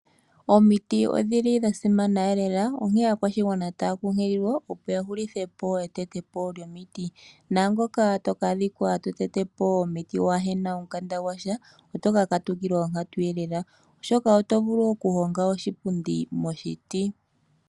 Omiti odhili dhasimana elela. Onkene aakwashigwana otaya kunkililwa opo ya hulithe po etetopo lyomiti. Naangoka toka adhika totete po omuti waahena omukanda gwasha otoka katukilwa onkatuelela. Oshoka oto vulu wo okuhonga oshipundi moshiti.